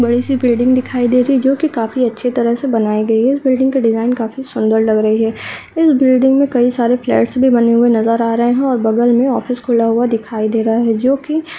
बड़ी सी बिल्डिंग दिखाई दे रही है जो की काफी अच्छी तरह से बनाई गई है इस बिल्डिंग की डिज़ाइन काफी सुन्दर लग रही है इस बिल्डिंग में कई सारे फ्लैट्स भी बने हुए नज़र आ रहे हैं और बगल में ऑफिस खुला हुआ दिखाई दे रहा है जोकि --